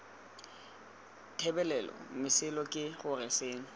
thebolelo mesola ke gore seno